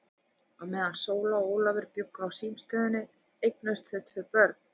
Á meðan Sóla og Ólafur bjuggu á símstöðinni eignuðust þau tvö börn.